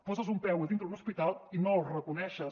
poses un peu a dintre d’un hospital i no el reconeixes